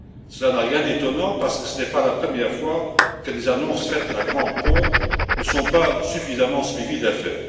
Cela n'a rien d'étonnant, parce que ce n'est pas la première fois que des annonces faites en grande pompe ne sont pas suffisamment suivies d'effet.